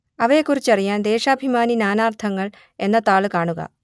അവയെക്കുറിച്ചറിയാൻ ദേശാഭിമാനി നാനാർത്ഥങ്ങൾ എന്ന താൾ കാണുക